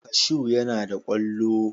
Kashu yana da kwallo.